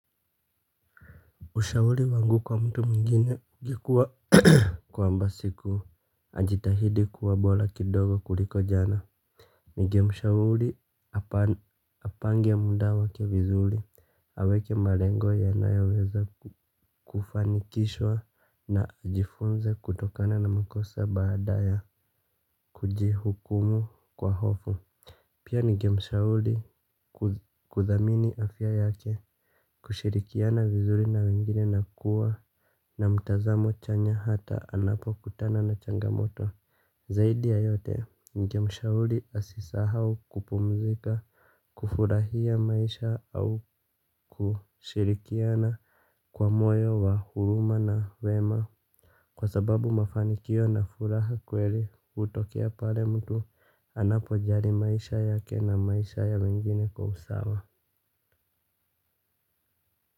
Ushauli wangu kwa mtu mwigine ilikuwa kwamba siku, ajitahidi kuwa bola kidogo kuliko jana. Ningemshauli apange mda wake vizuli, aweke malengo yanayo weza kufanikishwa na jifunze kutokana na mkosa baada ya kujihukumu kwa hofu. Pia ningemshauli kuthamini afya yake kushirikiana vizuri na wengine na kuwa na mtazamo chanya hata anapo kutana na changamoto. Zaidi ya yote ningemshauli asisahau kupumzika. Kufurahia maisha au kushirikiana kwa moyo wa huruma na wema. Kwa sababu mafanikio nafuraha kweli hutokea pale mtu anapo jali maisha yake na maisha ya wengine kwa usawa.